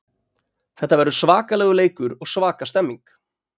Þetta verður svakalegur leikur og svaka stemning.